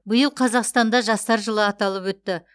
биыл қазақстанда жастар жылы аталып өтті